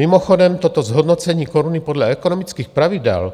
Mimochodem toto zhodnocení koruny podle ekonomických pravidel